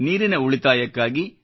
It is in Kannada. ನೀರಿನ ಉಳಿತಾಯಕ್ಕಾಗಿ